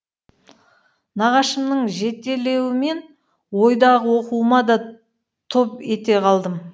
нағашымның жетелеуімен ойдағы оқуыма да топ ете қалдым